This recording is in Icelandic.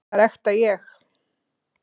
Það er ekta ég.